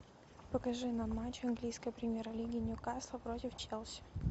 покажи нам матч английской премьер лиги ньюкасл против челси